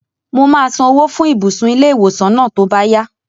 Mo máa san owó fún ibùsùn ilé-ìwòsàn náà tó bá yá